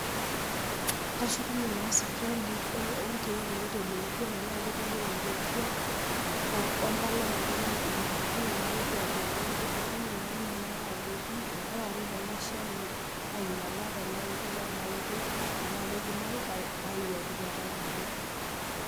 Kashukunye naa sipitali olkeek lotelekutua tenetii lotelekutua o empalai opa naigerokoki nalotu aduare olkitari ,naliki naake ajoki eitu aret ilo Shani ainyala tena oitoi we ena oitoi, tanake eidimayu naiwuatwuataki ilkeek.